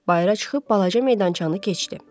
Bayıra çıxıb balaca meydançanı keçdi.